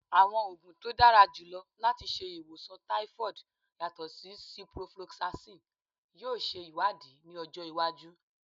Awọn oogun to dara julọ lati ṣe iwosan typhoid yatọ si ciprofloxacin yoo ṣe iwadii ni ọjọ iwaju